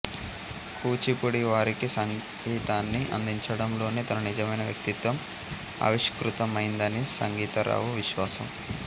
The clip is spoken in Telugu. కూచిపూడివారికి సంగీతాన్ని అందించడంలోనే తన నిజమైన వ్యక్తిత్వం ఆవిష్కృతమైందని సంగీతరావు విశ్వాసం